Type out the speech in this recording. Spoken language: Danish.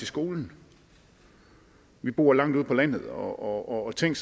skolen vi bor langt ude på landet og tænk